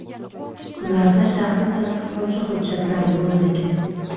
Ularda shaxsni tasdiqlovchi hujjatlar bo‘lmagan.